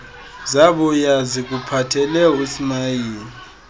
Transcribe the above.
zabuya zikuphathele usmayili